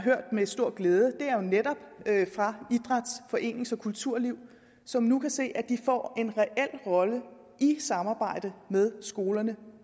med stor glæde har jo netop fra idræts forenings og kulturlivet som nu kan se at de får en reel rolle i samarbejde med skolerne og